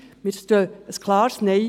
Wir stehen für ein klares Nein.